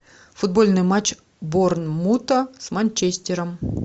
футбольный матч борнмута с манчестером